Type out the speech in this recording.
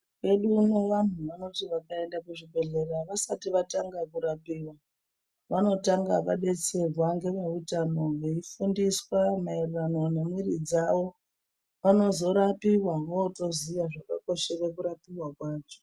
Mukanyi medu muno vantu vanoti vakaenda kuzvibhedhlera vasati vatanga kurapiva. Vanotanga vabetserwa ngemweutano veifundiswa maererano nemumwiri dzavo. Vanozorapiva votoziya zvakakoshera kurapiva kwacho.